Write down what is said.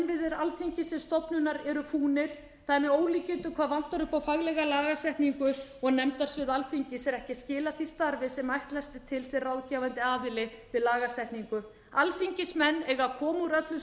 innviðir alþingis sem stofnunar eru fúnir það er með ólíkindum hvað vantar upp á faglega lagasetningu og nefndasvið alþingis er ekki að skila því starfi sem ætlast er til sem ráðgefandi aðili við lagasetningu alþingismenn eiga að koma úr öllum